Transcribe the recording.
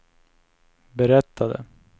berättade